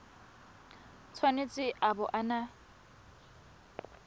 tshwanetse a bo a na